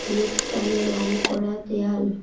হলুদ কালো রং করা দেয়াল ।